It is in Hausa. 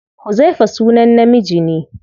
Huzaifa sunan namiji ne.